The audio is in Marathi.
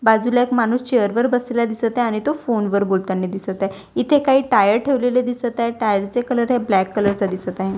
बाजूला एक माणूस चेअर वर बसलेला दिसत आहे आणि तो फोन वर बोलतानी दिसत आहे इथे काही टायर ठेवलेले दिसत आहे टायर चे कलर आहे ब्लॅक कलर चा दिसत आहे.